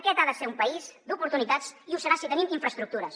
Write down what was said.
aquest ha de ser un país d’oportunitats i ho serà si tenim infraestructures